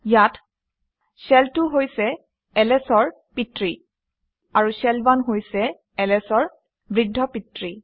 ইয়াত শেল 2 হৈছে ls অৰ পিতৃ আৰু শেল 1 হৈছে ls অৰ বৃদ্ধপিতৃ